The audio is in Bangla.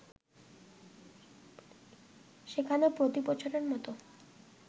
সেখানে প্রতিবছরের মতো